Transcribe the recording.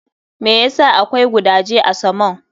Me ya sa akwai gudaje a samon?